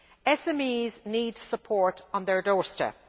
SMEs need support on their doorstep.